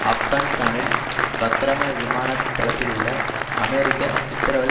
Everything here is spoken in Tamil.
ஆப்கானிஸ்தானில் பக்ரம விமான தளத்திலுள்ள அமெரிக்க சித்திரவதை